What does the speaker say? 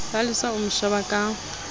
palesa o mo sheba ka